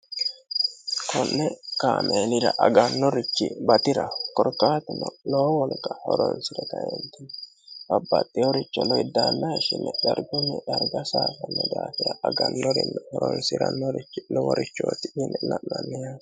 konni kameelira aganorichi batiraho korkaatuno lowo wolqa horonsire kae babbaxino garinni babbaxino uduune dargunni darga saysanno daafira agannorichonno horonsirannuhu loworichooti